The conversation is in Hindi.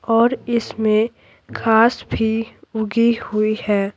और इसमें घास भी उगी हुई है।